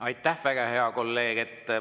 Aitäh, väga hea kolleeg!